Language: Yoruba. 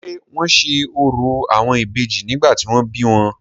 ṣé wọ́n se orò àwọn Ìbejì nígbà tí wọ́n bí wọn?